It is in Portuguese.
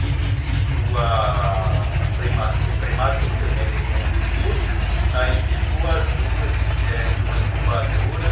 E devido a ser prematura, com oito meses, aí ficou as duas, né, numa incubadora.